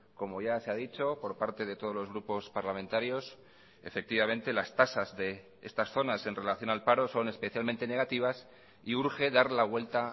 como ya se ha dicho por parte de todos los grupos parlamentarios efectivamente las tasas de estas zonas en relación al paro son especialmente negativas y urge dar la vuelta